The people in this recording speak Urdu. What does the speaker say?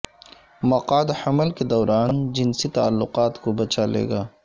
مقعد حمل کے دوران جنسی تعلقات کو بچا لے گا